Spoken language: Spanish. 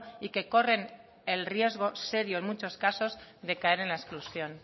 y que corren el riesgo serio en muchos casos de caer en la exclusión